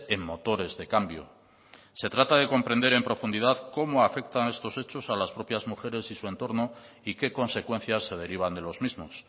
en motores de cambio se trata de comprender en profundidad cómo afectan estos hechos a las propias mujeres y su entorno y qué consecuencias se derivan de los mismos